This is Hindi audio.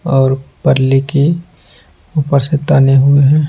और पर्ली की ऊपर से ताने हुए हैं।